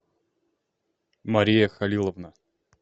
мария халиловна